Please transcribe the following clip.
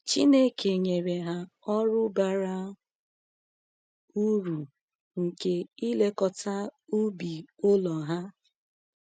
Chineke nyere ha ọrụ bara uru nke ilekọta ubi ụlọ ha.